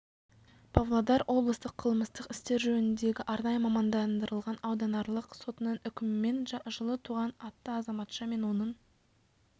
павлодар облыстық қылмыстық істер жөніндегі арнайы мамандандырылған ауданаралық сотының үкімімен жылы туған атты азаматша мен оның